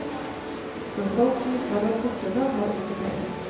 For folk som ikke har vært borti det, har ikke peiling.